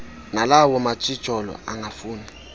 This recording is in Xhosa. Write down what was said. nalawa matshijolo angafuni